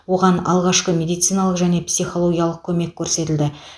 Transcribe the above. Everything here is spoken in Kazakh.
оған алғашқы медициналық және психологиялық көмекті көрсетілді